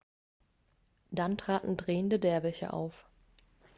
dann traten drehende derwische auf